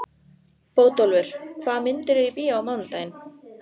Bótólfur, hvaða myndir eru í bíó á mánudaginn?